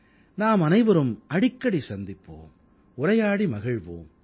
நாமனைவரும் அடிக்கடி சந்திப்போம் உரையாடி மகிழ்வோம்